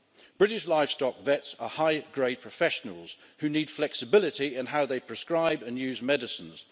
British livestock vets are high grade professionals who need flexibility in how they prescribe and use medicines.